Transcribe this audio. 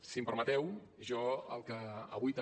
si em permeteu jo el que avui també